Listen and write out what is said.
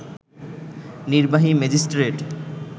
নির্বাহী ম্যাজিস্ট্রেট